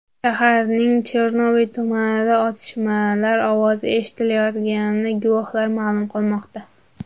Shaharning Chernoviy tumanida otishmalar ovozi eshitilayotganini guvohlar ma’lum qilmoqda.